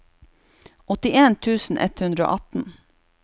åttien tusen ett hundre og atten